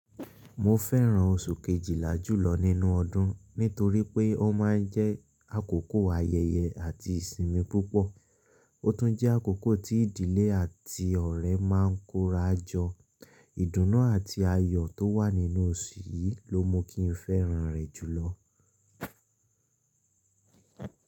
Mo fẹ́ràn oṣù kejìlá jùlọ nínú ọdún nítorí pé ó ma ń jẹ́ àkókò ayẹyẹ àti ìsinmi púpọ̀. Ó tún jẹ́ àkókò tí ìdílé àti ọ̀rẹ́ máa ń kóra jọ. Ìdùnnú àti ayọ̀ tó wà nínú oṣù yìí ló mú kí n fẹ́ràn rẹ̀ jùlọ.